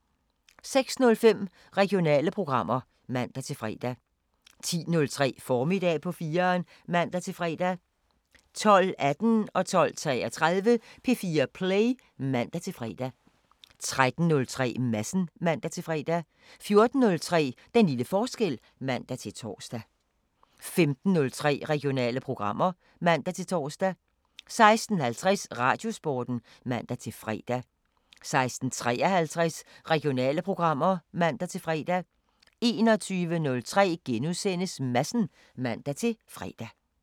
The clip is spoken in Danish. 06:05: Regionale programmer (man-fre) 10:03: Formiddag på 4'eren (man-fre) 12:18: P4 Play (man-fre) 12:33: P4 Play (man-fre) 13:03: Madsen (man-fre) 14:03: Den lille forskel (man-tor) 15:03: Regionale programmer (man-tor) 16:50: Radiosporten (man-fre) 16:53: Regionale programmer (man-fre) 21:03: Madsen *(man-fre)